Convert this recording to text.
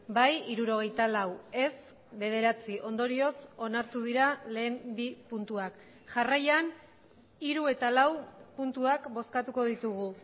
bai hirurogeita lau ez bederatzi ondorioz onartu dira lehen bi puntuak jarraian hiru eta lau puntuak bozkatuko ditugu